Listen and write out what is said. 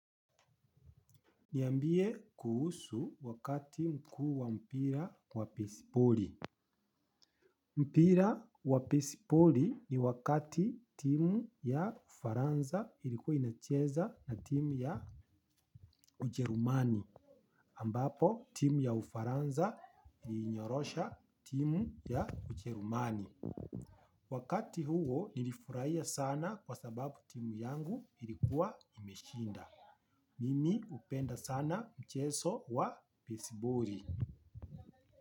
Niambie kuhusu wakati mkuu wa mpira wa besiboli. Mpira wa besboli ni wakati timu ya ufaransa ilikuwa inacheza na timu ya ujerumani ambapo timu ya ufaransa ilinyorosha timu ya ujerumani. Wakati huo nilifurahia sana kwa sababu timu yangu ilikuwa imeshinda. Mimi hupenda sana mchezo wa besiboli.